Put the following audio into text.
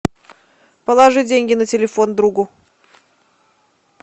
положи деньги на телефон другу